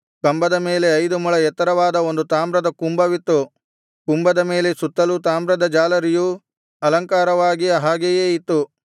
ಕಂಬದ ಮೇಲೆ ಐದು ಮೊಳ ಎತ್ತರವಾದ ಒಂದು ತಾಮ್ರದ ಕುಂಭವಿತ್ತು ಕುಂಭದ ಮೇಲೆ ಸುತ್ತಲೂ ತಾಮ್ರದ ಜಾಲರಿಯೂ ಅಲಂಕಾರವಾಗಿ ಹಾಗೆಯೇ ಇತ್ತು